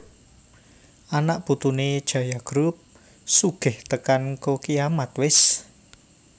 Anak putune Jaya Group sugih tekan ngko kiamat wes